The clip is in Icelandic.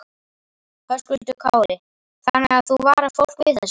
Höskuldur Kári: Þannig að þú varar fólk við þessu?